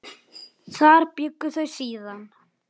Þar bjuggu þau síðan.